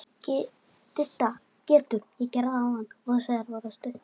Didda getur átt við